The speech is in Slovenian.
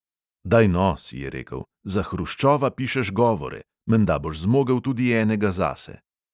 Daj no, si je rekel; za hruščova pišeš govore – menda boš zmogel tudi enega zase.